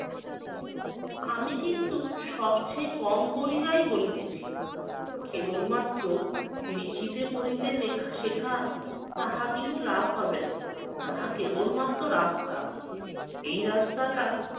আমি কিন্তু সবচেয়ে কম করিয়াই বলিতেছি, কেবলমাত্র লিখিতে পড়িতে লেখা শেখা তাহা কিছু লাভ হবে না, তাহা কেবলমাত্র রাস্তা। এই রাস্তাটা